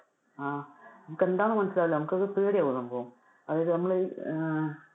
അഹ് നമുക്ക് എന്താണെന്നു മനസ്സിലാവില്ല നമുക്ക് അത് പേടി ആകും സംഭവം, അതായതു നമ്മളുടെ ഈ ആഹ്